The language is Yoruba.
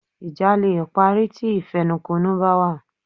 Ìjà leè parí ti ìfẹnukonu bá wà